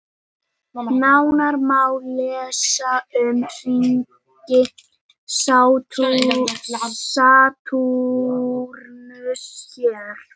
Nánar má lesa um hringi Satúrnusar hér.